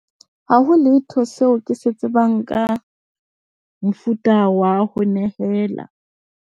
Haho letho seo ke se tsebang ka mofuta wa ho nehela.